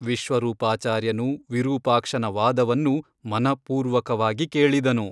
ವಿಶ್ವರೂಪಾಚಾರ್ಯನು ವಿರೂಪಾಕ್ಷನ ವಾದವನ್ನು ಮನಃಪೂರ್ವಕವಾಗಿ ಕೇಳಿದನು.